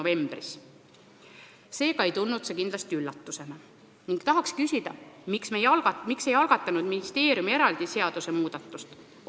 Seega ei tulnud see ministeeriumile kindlasti üllatusena ning tahaks küsida, miks nad ei algatanud omaalgatuslikult juba varem eraldi seadusmuudatust.